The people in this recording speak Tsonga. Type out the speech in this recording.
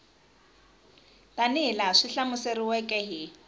tanihi laha swi hlamuseriweke hi